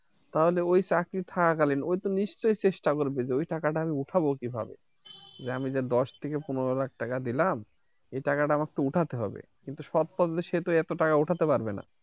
তাহলে ওই চাকরি থাকাকালীন ওই তো নিশ্চয় চেষ্টা করবে যে ওই টাকাটা আমি উঠাবো কিভাবে যে আমি যে দশ থেকে পনের লাখ টাকা দিলাম এই টাকাডা আমাক তো উঠাতে হবে কিন্তু সৎ পথে সে তো এত টাকা উঠাতে পারবে না।